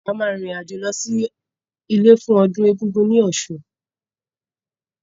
A máa rìn rìn àjò lọ sí ilé fún ọdún Egungun ní Ọ̀ṣun